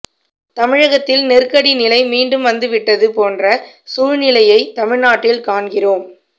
தமிழகத்தில் நெருக்கடி நிலை மீண்டும் வந்துவிட்டது போன்ற சூழ்நிலையை தமிழ்நாட்டில் காண்கிறோம்